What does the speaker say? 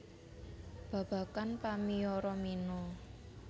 Babagan pamiyoro mino